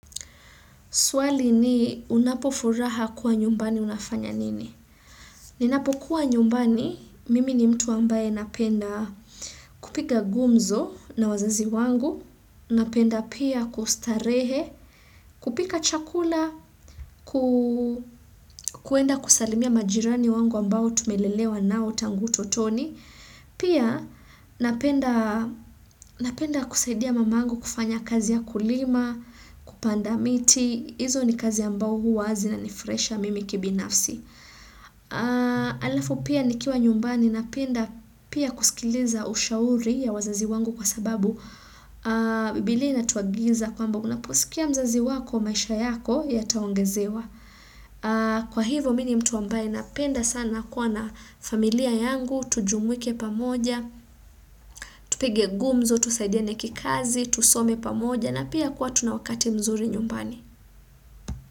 Swali ni unapofuraha kuwa nyumbani unafanya nini? Ninapo kuwa nyumbani, mimi ni mtu ambaye napenda kupiga gumzo na wazazi wangu, napenda pia kustarehe, kupika chakula, kwenda kusalimia majirani wangu ambao tumelelewa nao tangu utotoni. Pia napenda kusaidia mamangu kufanya kazi ya kulima, kupanda miti, hizo ni kazi ambao huwa zinanifurahisha mimi kibinafsi. Alafu pia ni kiwa nyumbani napenda pia kusikiliza ushauri ya wazazi wangu kwa sababu bibilia ina tuagiza kwamba unaposikia mzazi wako maisha yako yataongezewa. Kwa hivo mimi ni mtu ambaye napenda sana kuwa na familia yangu Tujumwike pamoja, tupige gumzo, tusaidiane kikazi, tusome pamoja na pia kuwa tunawakati mzuri nyumbani.